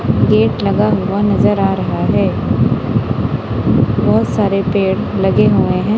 Gate लगा हुआ नज़र आ रहा है बहोत सारे पेड़ लगे हुए हैं।